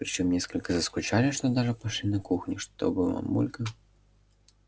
причём настолько заскучали что даже пошли на кухню чтобы мамулька